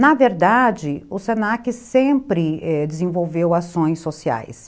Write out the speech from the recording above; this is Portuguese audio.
Na verdade, o se na que sempre desenvolveu ações sociais.